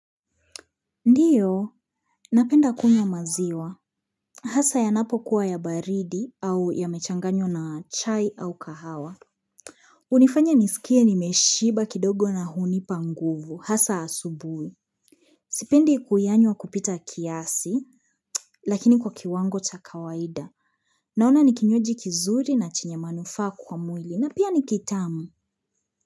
Ndio, napenda kunywa maziwa. Hasa yanapokuwa ya baridi au yamechanganywa na chai au kahawa. Hunifanya nisikie nimeshiba kidogo na hunipa nguvu. Hasa asubuhi. Sipendi kuyanywa kupita kiasi, lakini kwa kiwango cha kawaida. Naona ni kinywaji kizuri na chenyw manufaa kwa mwili na pia ni kitamu.